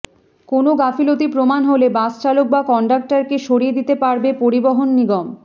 কোনও গাফিলতি প্রমাণ হলে বাসচালক বা কন্ডাক্টরকে সরিয়ে দিতে পারবে পরিবহণ নিগম